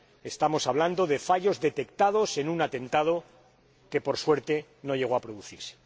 Estamos hablando de fallos detectados en un atentado que, por suerte, no llegó a producirse.